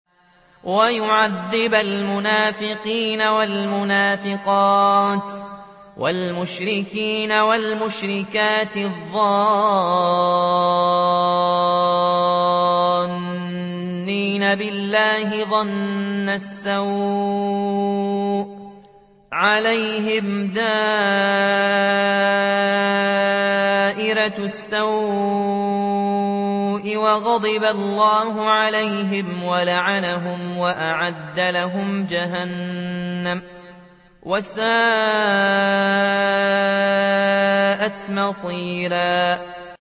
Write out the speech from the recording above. وَيُعَذِّبَ الْمُنَافِقِينَ وَالْمُنَافِقَاتِ وَالْمُشْرِكِينَ وَالْمُشْرِكَاتِ الظَّانِّينَ بِاللَّهِ ظَنَّ السَّوْءِ ۚ عَلَيْهِمْ دَائِرَةُ السَّوْءِ ۖ وَغَضِبَ اللَّهُ عَلَيْهِمْ وَلَعَنَهُمْ وَأَعَدَّ لَهُمْ جَهَنَّمَ ۖ وَسَاءَتْ مَصِيرًا